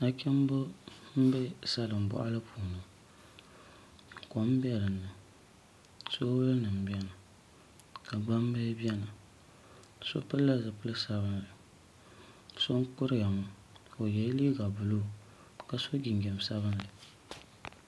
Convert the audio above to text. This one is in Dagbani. Nachimbi n bɛ salin boɣali puuni kom bɛ dinni soobuli nim biɛni ka gbambili biɛni so pilila zipili sabinli so n kuriya ŋo ka o yɛ liiga buluu ka so jinjɛm sabinli